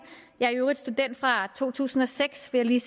jeg er i øvrigt student fra to tusind og seks vil jeg